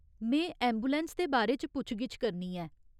में ऐंबुलैंस दे बारे च पुच्छ गिच्छ करनी ऐ।